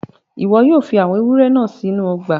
Ìwo yio fi àwon ewúrẹ́ náà sínú ogbà